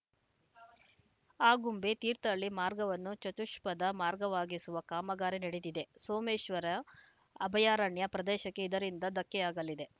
ಆಗುಂಬೆ ತೀರ್ಥಹಳ್ಳಿ ಮಾರ್ಗವನ್ನು ಚತುಷ್ಪಥ ಮಾರ್ಗವಾಗಿಸುವ ಕಾಮಗಾರಿ ನಡೆದಿದೆ ಸೋಮೇಶ್ವರ ಅಭಯಾರಣ್ಯ ಪ್ರದೇಶಕ್ಕೆ ಇದರಿಂದ ಧಕ್ಕೆಯಾಗಲಿದೆ